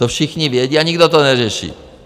To všichni vědí a nikdo to neřeší.